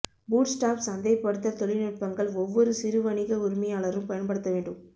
bootstrap சந்தைப்படுத்தல் தொழில்நுட்பங்கள் ஒவ்வொரு சிறு வணிக உரிமையாளரும் பயன்படுத்த வேண்டும்